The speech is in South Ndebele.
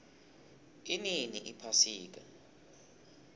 inini iphasika